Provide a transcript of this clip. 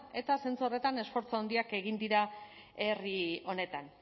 eta zentzu horretan esfortzu handiak egin dira herri honetan